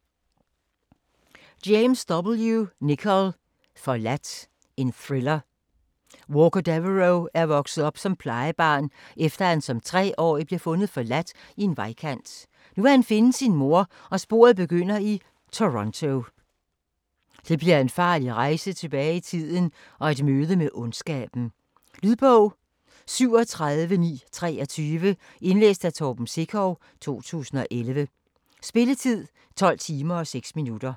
Nichol, James W.: Forladt Thriller. Walker Deveraux er vokset op som plejebarn, efter han som 3-årig blev fundet forladt i en vejkant. Nu vil han finde sin mor, og sporet begynder i Toronto. Det bliver en farlig rejse tilbage i tiden og et møde med ondskaben. Lydbog 37923 Indlæst af Torben Sekov, 2011. Spilletid: 12 timer, 6 minutter.